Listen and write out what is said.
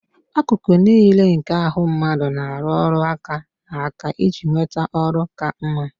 Akụkụ niile nke ahụ mmadụ na-arụ ọrụ aka na aka iji nweta ọrụ ka mma